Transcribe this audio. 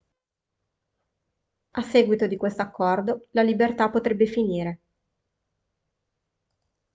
a seguito di questo accordo la libertà potrebbe finire